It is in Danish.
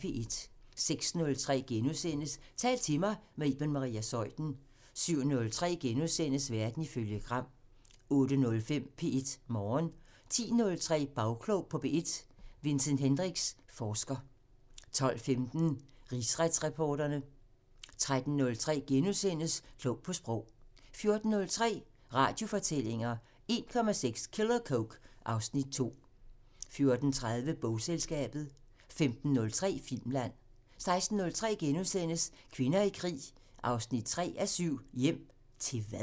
06:03: Tal til mig – med Iben Maria Zeuthen * 07:03: Verden ifølge Gram * 08:05: P1 Morgen 10:03: Bagklog på P1: Vincent Hendricks, forsker 12:15: Rigsretsreporterne 13:03: Klog på Sprog * 14:03: Radiofortællinger: 1,6 kilo coke - (Afs. 2) 14:30: Bogselskabet 15:03: Filmland 16:03: Kvinder i krig 3:7 – "Hjem... til hvad?" *